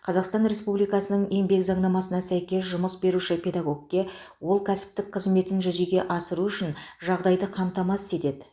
қазақстан республикасының еңбек заңнамасына сәйкес жұмыс беруші педагогке ол кәсіптік қызметін жүзеге асыру үшін жағдайды қамтамасыз етеді